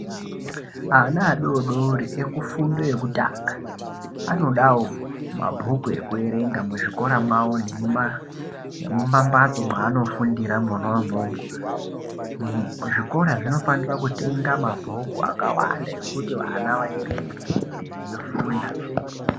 Ana adori dori ekufundo yekutanga anodawo mabhuku ekuerenga muzvikora mwavo nemumambatso mwaanofundira mwona imwomwo. Zvikora zvinofanira kutenga mabhuku akawanda ekuti vana vaerenge veifunda.